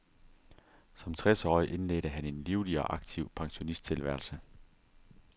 Som tres årig indledte han en livlig og aktiv pensionisttilværelse.